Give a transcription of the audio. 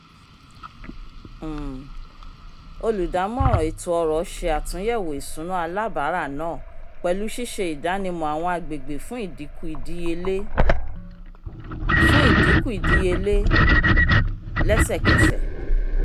um olùdámọ̀ràn ètò ọrọ̀ ṣe àtúnyẹ̀wò ìsúná alábárà náà pẹ̀lú ṣíṣe ìdánimọ̀ àwọn agègbè fún ìdinkù-ìdíyelé fún ìdinkù-ìdíyelé lẹ́sẹ̀kẹsẹ̀